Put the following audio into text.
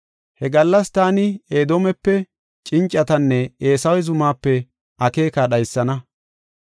“He gallas taani Edoomepe cincatanne Eesawe zumaape akeeka dhaysana.